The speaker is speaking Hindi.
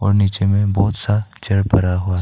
और नीचे में बहुत सा चेयर पड़ा हुआ है।